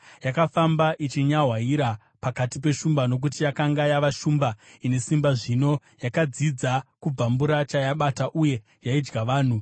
Yakafamba ichinyahwaira pakati peshumba, nokuti yakanga yava shumba ine simba zvino. Yakadzidza kubvambura chayabata uye yaidya vanhu.